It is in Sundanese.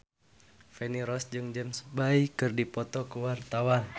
Feni Rose jeung James Bay keur dipoto ku wartawan